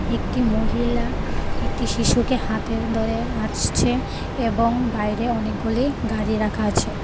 একটি মহিলা একটি শিশুকে হাতে ধরে আসছে এবং বাইরে অনেকগুলি গাড়ি রাখা আছে.